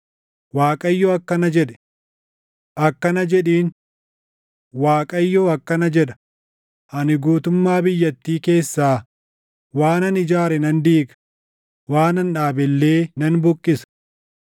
Waaqayyo akkana jedhe; ‘Akkana jedhiin: Waaqayyo akkana jedha; ani guutummaa biyyattii keessaa waanan ijaare nan diiga; waanan dhaabe illee nan buqqisa.